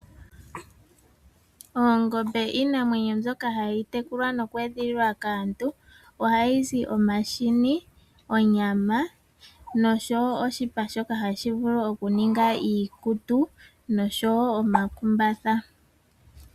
Oongombe iinamwenyo mbyoka hayi tekulwa noku edhililwa kaantu. Ohayi zi omahini, onyama noshowo oshipa shoka hashi vulu okuninga iikutu noshowo omakumbatha.